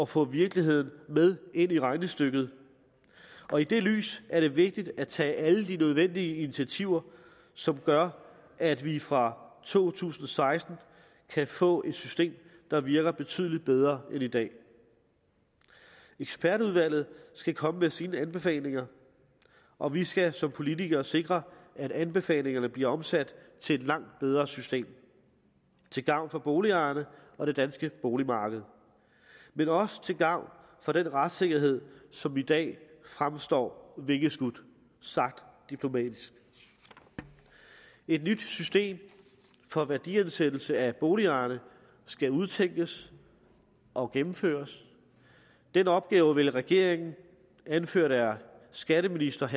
få virkeligheden med ind i regnestykket og i det lys er det vigtigt at tage alle de nødvendige initiativer som gør at vi fra to tusind og seksten kan få et system der virker betydelig bedre end i dag ekspertudvalget skal komme med sine anbefalinger og vi skal som politikere sikre at anbefalingerne bliver omsat til et langt bedre system til gavn for boligejerne og det danske boligmarked men også til gavn for den retssikkerhed som i dag fremstår vingeskudt sagt diplomatisk et nyt system for værdiansættelse af boligerne skal udtænkes og gennemføres den opgave vil regeringen anført af skatteministeren